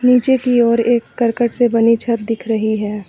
नीचे की ओर एक करकट से बनी छत दिख रही है।